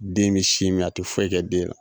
Den me sin mi a te foyi kɛ den la